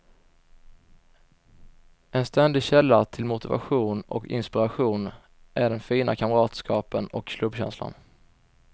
En ständig källa till motivation och inspiration är den fina kamratskapen och klubbkänslan.